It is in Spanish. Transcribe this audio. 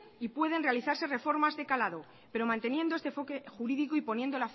y pueden realizarse reformas de calado pero manteniendo este enfoque jurídico y poniendo